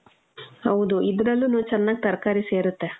ಹೌದು , ಇದ್ರಲ್ಲುನು ಚನ್ನಾಗ್ ತರ್ಕಾರಿ ಸೇರತ್ತೆ.